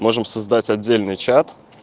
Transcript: можем создать отдельный чат